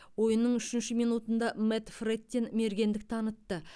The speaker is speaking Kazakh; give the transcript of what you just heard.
ойынның үшінші минутында мэтт фрэттин мергендік танытты